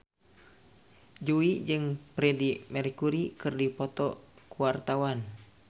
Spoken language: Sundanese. Jui jeung Freedie Mercury keur dipoto ku wartawan